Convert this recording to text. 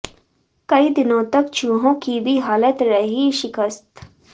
कई दिनों तक चूहों की भी हालत रही शिकस्त